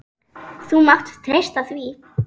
Þú mátt treysta því!